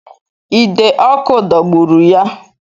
Ide ọkụ dọgburu ya